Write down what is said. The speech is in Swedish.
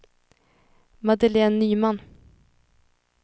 Madeleine Nyman